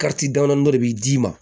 damandɔn de bi d'i ma